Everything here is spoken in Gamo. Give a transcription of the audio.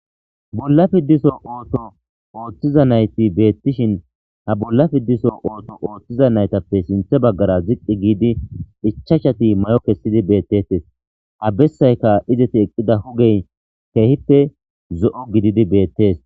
bolla fidiso ooso ooththiza nayti beettishin ha bolla fidiso ooso ooththiza naytappe sinthe baggara ziqqi giidi ichashati mayo kessidi beettettes ha bessayka izeti eqqida hugey kehippe zo'o gididi beettees